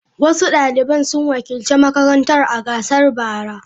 Wasu daliban sun wakilci makarantar a gasar bara.